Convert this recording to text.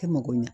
Kɛ mako ɲɛ